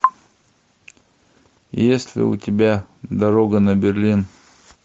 есть ли у тебя дорога на берлин